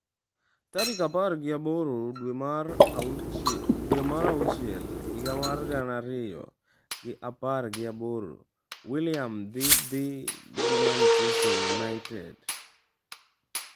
Tarik apar gi aboro dwe mar auchil higa mar gana ariyo gi apar gi aboro: Willian dhi dhi gi Manchester United?